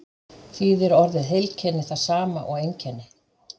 þýðir orðið heilkenni það sama og einkenni